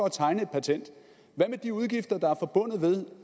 at tegne et patent hvad med de udgifter der er forbundet med